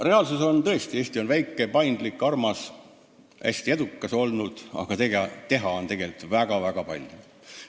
Reaalsus on tõesti see, et Eesti on väike, paindlik ja armas, ta on hästi edukas olnud, aga teha on tegelikult väga-väga palju.